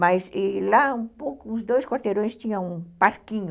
Mas lá, um pouco, os dois quarteirões tinham um parquinho